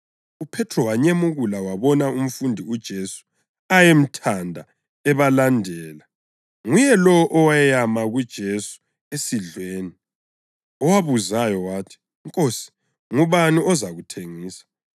UPhethro wanyemukula wabona umfundi uJesu ayemthanda ebalandela. (Nguye lowo oweyama kuJesu esidlweni, owabuzayo wathi, “Nkosi, ngubani ozakuthengisa?”)